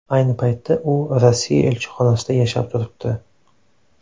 Ayni paytda u Rossiya elchixonasida yashab turibdi.